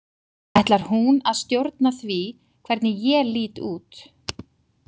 Ætlar hún að stjórna því hvernig ég lít út?